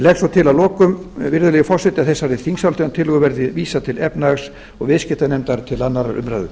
legg svo til að lokum virðulegi forseti að þessari þingsályktunartillögu verði vísað til efnahags og viðskiptanefndar og til annarrar umræðu